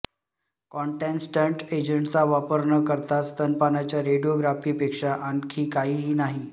कॉन्टॅस्टंट एजेंट्सचा वापर न करता स्तनपानाच्या रेडियोग्राफीपेक्षा आणखी काहीही नाही